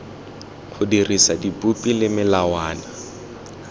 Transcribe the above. go dirisa dipopi le melawana